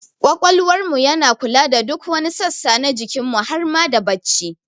Ƙwaƙwalwar mu yana kula da duk wani sassa na jikin mu har ma da bacci